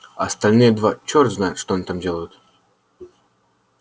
а остальные два черт знает что они делают